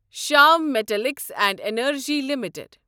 Shyam Metalics and Energy limited